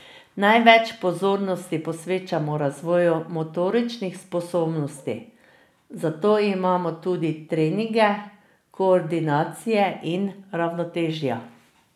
Največ pozornosti posvečamo razvoju motoričnih sposobnosti, zato imamo tudi treninge koordinacije in ravnotežja.